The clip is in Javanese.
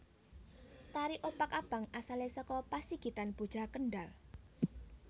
Tari Opak Abang asalé saka Pasigitan Boja Kendhal